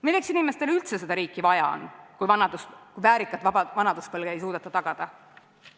Milleks inimestele üldse seda riiki vaja on, kui väärikat vanaduspõlve ei suudeta tagada?